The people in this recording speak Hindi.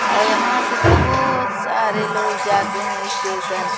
और यहाँ से बहोत सारे लोग जाते है स्टेशन --